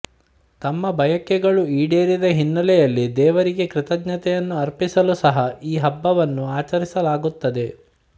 ತಮ್ಮ ಬಯಕೆಗಳು ಈಡೇರಿದ ಹಿನ್ನೆಲೆಯಲ್ಲಿ ದೇವರಿಗೆ ಕೃತಜ್ಞತೆಯನ್ನು ಅರ್ಪಿಸಲು ಸಹ ಈ ಹಬ್ಬವನ್ನು ಆಚರಿಸಲಾಗುತ್ತದೆ